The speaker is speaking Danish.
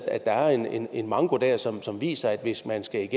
er en en manko der som som viser at hvis man skal